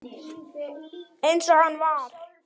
Eins og hann var.